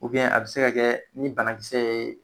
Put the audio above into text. a bɛ se ka kɛ ni banakisɛ ye